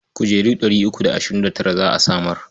Kujeru ɗari uku da ashirin da tara za a samar.